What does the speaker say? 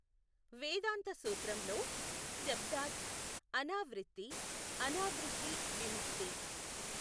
వేదాంత సూత్రంలో శబ్ధాద్ అనావిృత్థి అనావిృత్థి విముక్తి.